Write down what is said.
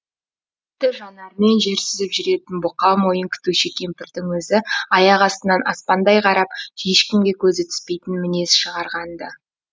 тіпті жанарымен жер сүзіп жүретін бұқа мойын күтуші кемпірдің өзі аяқ астынан аспандай қарап ешкімге көзі түспейтін мінез шығарғанды